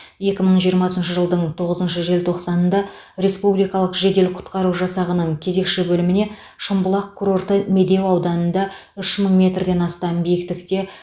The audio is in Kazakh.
екі мың жиырмасыншы жылдың тоғызыншы желтоқсанында республикалық жедел құтқару жасағының кезекші бөліміне шымбұлақ курорты медеу ауданында үш мың метрден астам биіктікте